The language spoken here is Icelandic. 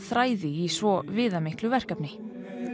þræði í svo viðamiklu verkefni